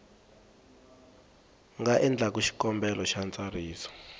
nga endlaku xikombelo xa ntsariso